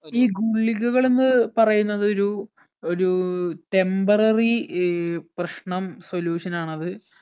ഈ ഗുളികകൾ എന്ന് പറയുന്നത് ഒരു ഒരു temporary ഏർ പ്രശ്നം solution ആണ് അത്